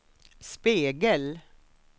spegel